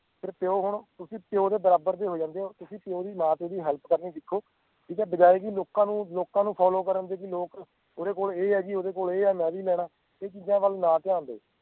ਫੇਰ ਪਿਓ ਹੁਣ ਤੁਸੀਂ ਪਿਓ ਦੇ ਬਰਾਬਰ ਦੇ ਹੋ ਜਾਂਦੇ ਓਂ ਤੁਸੀਂ ਨਾਲ ਓਹਦੀ help ਕਰਨੀ ਸਿੱਖੋ ਠੀਕ ਐ ਬਜਾਏ ਜੀ ਲੋਕਾਂ ਨੂੰ ਲੋਕਾਂ ਨੂੰ follow ਕਰਨ ਦੇ ਬਈ ਲੋਕ ਓਹਦੇ ਕੋਲ ਇਹ ਆ ਜੀ ਓਹਦੇ ਕੋਲ ਇਹ ਆ ਮੈਂ ਵੀ ਲੈਣਾ ਇਹ ਚੀਜ਼ਾਂ ਵਲ ਨਾ ਧਿਆਨ ਦਵੋ